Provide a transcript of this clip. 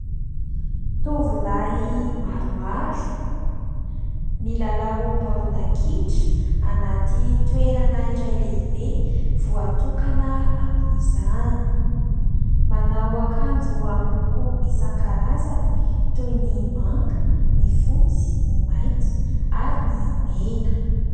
Tovolahy maromaro milalao baolina kitra anaty toerana iray lehibe voatokana amin'izany. Manao akanjo amin'ny loko isankarazany toy ny manga, ny fotsy, ny mainty ary ny mena.